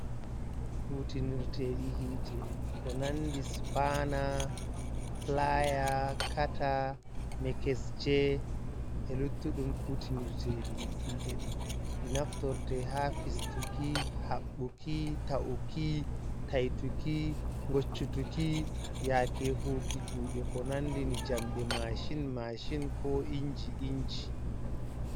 Kutinirteeɗi ko nandi sipaana, pilaaya, kata mekesje e luttuɗum kutinirteeɗi hiete ɗin ɗo naftirɗe haa fistuki, haɓɓuki, ta’uki, taituki, ngoccutuki, yaake hu'uki kuuɗe ko nandi ni jamde maashin-maashin ko injii-inji.